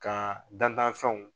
Ka dantanfɛnw